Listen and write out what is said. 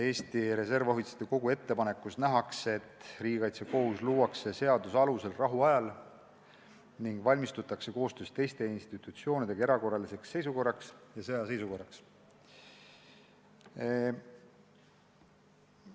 Eesti Reservohvitseride Kogu ettepanekus nähakse ette, et riigikaitsekohus luuakse seaduse alusel rahuajal ning koostöös teiste institutsioonidega valmistutakse erakorraliseks seisukorraks ja sõjaseisukorraks.